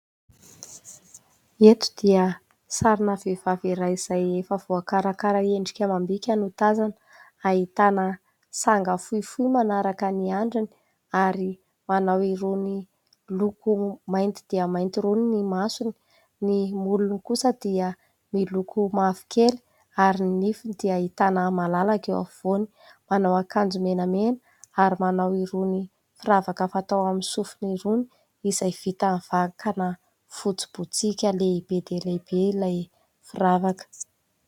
Eto dia sarina vehivavy iray izay efa voakarakara endrika amam-bika no tazana. Ahitana sanga fohifohy manaraka ny andriny ary manao irony loko mainty dia mainty irony ny masony. Ny molony kosa dia miloko mavokely, ary ny nifiny dia ahitana malalaka eo afovoany. Manao akanjo menamena ary manao irony firavaka fatao amin'ny sofiny irony izay vita amin'ny vakana fotsy botsiaka lehibe dia lehibe ilay firavaka.